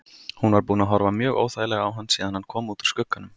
Hún var búin að horfa mjög óþægilega á hann síðan hann kom út úr skugganum.